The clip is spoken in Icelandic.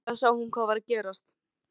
En skyndilega sá hún hvað var að gerast.